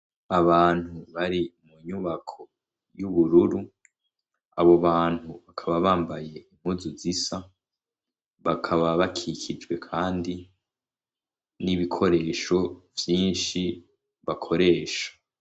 Abantu bari mu nyubako y'ubururu, abo bantu bakaba bambaye impuzu zisa, bakaba bakikijwe kandi n'ibikoresho vyinshi bakoresha.